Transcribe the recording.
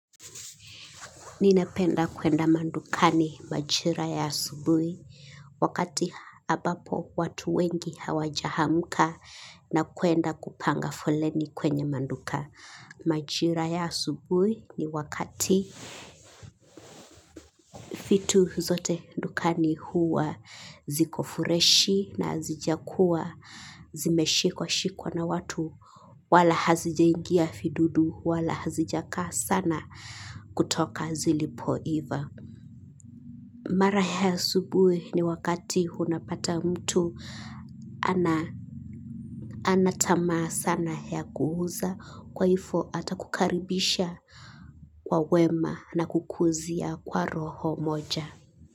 Ninependa kwenda madukani majira ya asubuhi wakati ambapo watu wengi hawajaamka na kwenda kupanga foleni kwenye maduka. Majira ya subui ni wakati vitu zote dukani huwa ziko freshi na zijakuwa zimeshikwa shikwa na watu wala hazijaingia vidudu wala hazijakaa sana kutoka zilipo iva. Mara ya asubuhi ni wakati unapata mtu anatamaa sana ya kuuza kwa hivo ata kukaribisha kwa wema na kukuuzia kwa roho moja.